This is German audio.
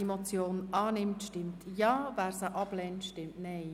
Wer diese Motion annimmt, stimmt Ja, wer diese ablehnt, stimmt Nein.